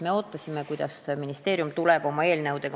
Me ootasime, kunas ministeerium tuleb oma eelnõuga.